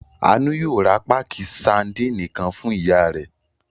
Àánú yóò ra páákì sadínì kan fún ìyá rẹ̀.